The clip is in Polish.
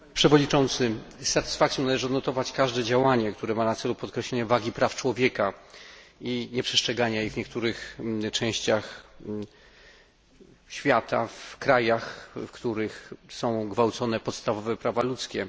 Panie przewodniczący! Z satysfakcją należy odnotować każde działanie, które ma na celu podkreślenie wagi praw człowieka i nieprzestrzegania ich w niektórych częściach świata, w krajach, w których są gwałcone podstawowe prawa ludzkie.